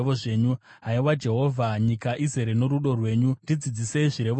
Haiwa Jehovha, nyika izere norudo rwenyu, ndidzidzisei zvirevo zvenyu.